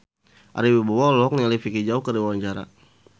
Ari Wibowo olohok ningali Vicki Zao keur diwawancara